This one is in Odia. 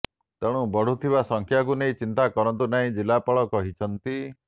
ତେଣୁ ବଢୁଥିବା ସଂଖ୍ୟାକୁ ନେଇ ଚିନ୍ତା କରନ୍ତୁ ନାହିଁ ଜିଲ୍ଲାପାଳ କହିଛନ୍ତି